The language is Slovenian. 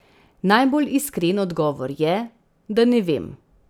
Najbolj iskren odgovor je, da ne vem.